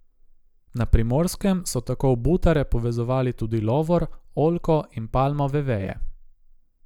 Na Primorskem so tako v butare povezovali tudi lovor, oljko in palmove veje.